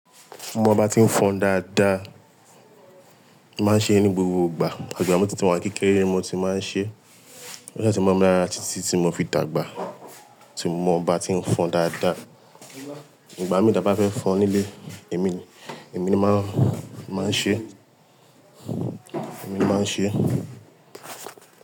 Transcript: Mo bá ti ń fọn dáadáa, màá ṣe é ní gbogbo ìgbà. Àgbà mi títí mo wà kékeré ni mo ti máa ń ṣe é. Lẹ́sẹ̀ tí mo bá rà á títí tí mo fi dàgbà. Tí mo bá ti ń fọn dáadáa. Ìgbà mìíràn ta bá fẹ́ fọn nílé, èmi, èmi máa, máa ṣe é, èmi máa ṣe é.